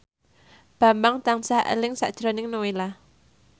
Bambang tansah eling sakjroning Nowela